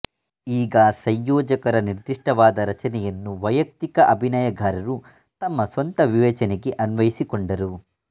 ಈಗ ಸಂಯೋಜಕರ ನಿರ್ದಿಷ್ಟವಾದ ರಚನೆಯನ್ನು ವಯಕ್ತಿಕ ಅಭಿನಯಗಾರರು ತಮ್ಮ ಸ್ವಂತ ವಿವೇಚನೆಗೆ ಅನ್ವಯಿಸಿಕೊಂಡರು